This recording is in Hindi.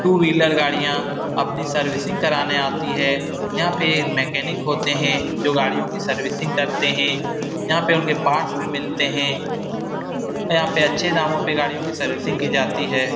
टू व्हीलर गाड़ियाँ अपनी सर्विसिंग कराने आती है यहाँ पे मैकेनिक होते हैं जो गाड़ियों कि सर्विसिंग करते हैं यहाँ पे उनके पार्ट्स भी मिलते हैं यहाँ पे अच्छे दामो पे गाड़ियाँ कि सर्विसिंग कि जाती है।